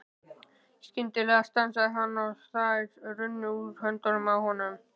Skyndilega stansaði hann og þær runnu úr höndunum á honum.